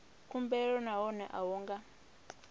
khumbelo nahone a hu nga